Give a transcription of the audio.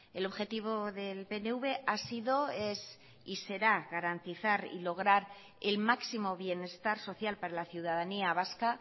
el objetivo del pnv ha sido es y será garantizar y lograr el máximo bienestar social para la ciudadanía vasca